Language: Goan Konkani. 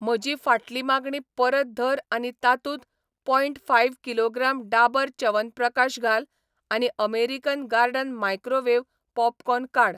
म्हजी फाटली मागणी परत धर आनी तातूंत point five kilogram Dabur Chyawanprakash घाल आनी अमेरिकन गार्डन मायक्रोवेव्ह पॉपकॉर्न काड.